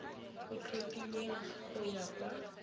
o tlhophilweng go ya ka